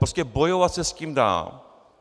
Prostě bojovat se s tím dá.